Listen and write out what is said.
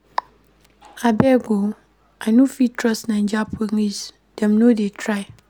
Abeg o, I no fit trust Naija police, dem no dey try.